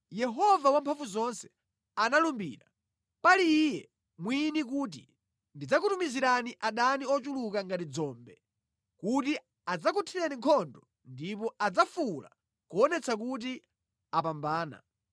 Yehova Wamphamvuzonse analumbira pali Iye mwini kuti: Ndidzakutumizira adani ochuluka ngati dzombe, kuti adzakuthire nkhondo ndipo adzafuwula kuonetsa kuti apambana.